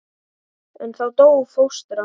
En þá dó fóstra.